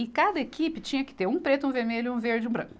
E cada equipe tinha que ter um preto, um vermelho, um verde e um branco.